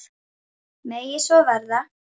Megi svo verða.